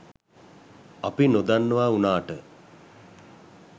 අපි නොදන්නවා වුනාට